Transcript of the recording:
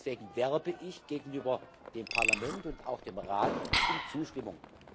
Deswegen werbe ich gegenüber dem Parlament und auch dem Rat um Zustimmung.